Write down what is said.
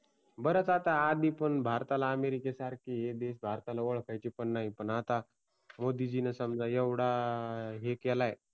बरेच लोक आता भारताला अमेरिके सारख आळखायचे पण नाही पण आता मोदीजीनी समजा एवढा हे केलाय